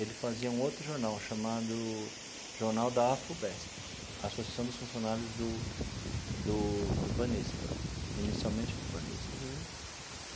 Ele fazia um outro jornal chamado Jornal da Afubesp, Associação dos Funcionários do do do Banespa, inicialmente do Banespa. Uhum.